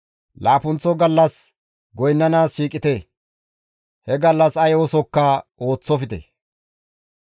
Laappunththo gallas goynnanaas shiiqite; he gallas ay oosokka ooththofte.